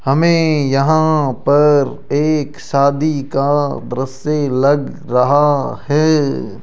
हमें यहां पर एक शादी का दृश्य लग रहा है।